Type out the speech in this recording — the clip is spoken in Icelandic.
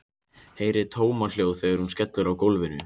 Heyri tómahljóð þegar hún skellur á gólfinu.